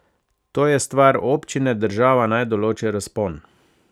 To je stvar občine, država naj določi razpon.